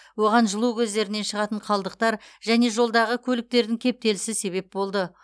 оған жылу көздерінен шығатын қалдықтар және жолдағы көліктердің кептелісі себеп болды